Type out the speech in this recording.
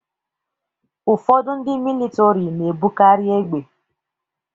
Ụfọdụ ndị militọri na-ebukarị égbè.